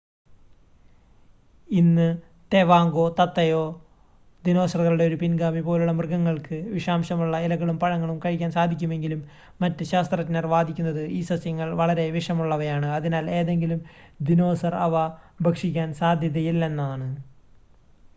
ഇന്ന് തേവാങ്കോ തത്തയോ ദിനോസറുകളുടെ ഒരു പിൻഗാമി പോലുള്ള മൃഗങ്ങൾക്ക് വിഷാംശമുള്ള ഇലകളും പഴങ്ങളും കഴിക്കാൻ സാധിക്കുമെങ്കിലും മറ്റ് ശാസ്ത്രജ്ഞർ വാദിക്കുന്നത് ഈ സസ്യങ്ങൾ വളരെ വിഷമുള്ളവയാണ് അതിനാൽ ഏതെങ്കിലും ദിനോസർ അവ ഭക്ഷിക്കാൻ സാധ്യതയില്ലയെന്നാണ്